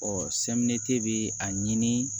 bɛ a ɲini